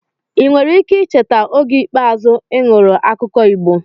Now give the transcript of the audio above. ị nwere ike icheta oge ikpeazụ ị nụrụ akụkọ Igbo?